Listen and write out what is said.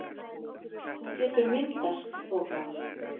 Þá getur myndast þoka.